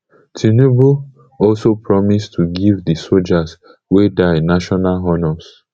tinubu also promise to go give di sojas wey die national honours